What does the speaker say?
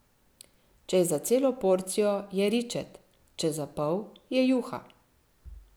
Če je za celo porcijo, je ričet, če za pol, je juha.